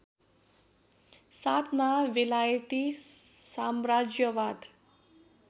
साथमा बेलायती साम्राज्यवाद